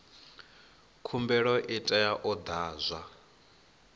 khumbelo i tea u ḓadzwa